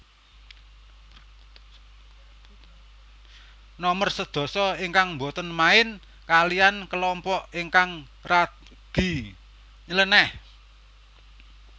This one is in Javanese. Nomer sedasa ingkang boten main kaliyan kelompok ingkang radi nylenéh